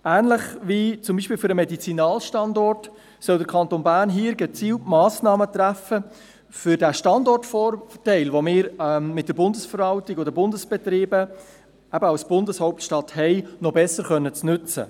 Ähnlich wie zum Beispiel für den Medizinalstandort soll der Kanton Bern hier gezielt Massnahmen treffen, um den Standortvorteil, den wir mit der Bundesverwaltung und den Bundesbetrieben als Bundeshauptstadt haben, noch besser nutzen zu können.